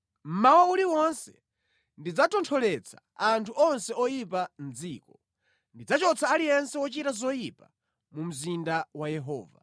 Mmawa uliwonse ndidzatontholetsa anthu onse oyipa mʼdziko; ndidzachotsa aliyense wochita zoyipa mu mzinda wa Yehova.